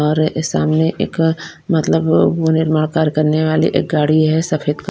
और सामने एक मतलब वो निर्माण कार्य करने वाली एक गाड़ी है एक सफेद क--